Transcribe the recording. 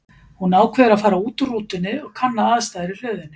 Hún ákveður að fara út úr rútunni og kanna aðstæður í hlöðunni.